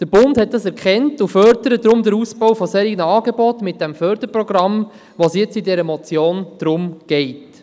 Der Bund hat das erkannt und fördert deshalb den Ausbau von solchen Angeboten mit dem Förderprogramm, um das es in dieser Motion geht.